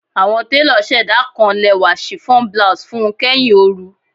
Awọn telo ṣẹda kan lẹwa chiffon blouse fun u kẹhin ooru